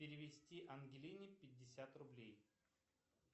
перевести ангелине пятьдесят рублей